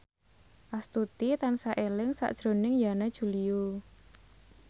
Astuti tansah eling sakjroning Yana Julio